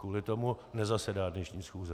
Kvůli tomu nezasedá dnešní schůze.